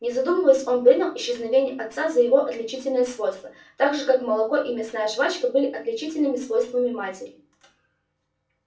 не задумываясь он принял исчезновение отца за его отличительное свойство так же как молоко и мясная жвачка были отличительными свойствами матери